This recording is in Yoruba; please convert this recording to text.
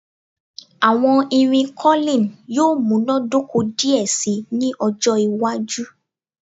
Awọn irin curling yoo munadoko diẹ sii ni ọjọ iwaju